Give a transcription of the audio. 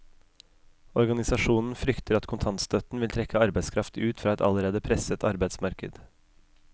Organisasjonen frykter at kontantstøtten vil trekke arbeidskraft ut fra et allerede presset arbeidsmarked.